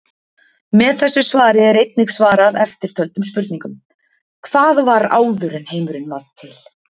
Með þessu svari er einnig svarað eftirtöldum spurningum: Hvað var áður en heimurinn varð til?